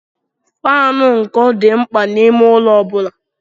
Faanụ ụkọ dị mkpa n'ime ụlọ ọ bụla.